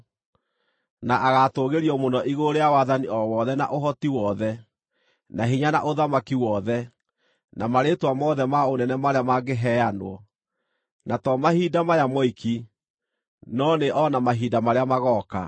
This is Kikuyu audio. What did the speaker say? na agatũũgĩrio mũno igũrũ rĩa wathani o wothe na ũhoti wothe, na hinya na ũthamaki wothe, na marĩĩtwa mothe ma ũnene marĩa mangĩheanwo, na to mahinda maya moiki, no nĩ o na mahinda marĩa magooka.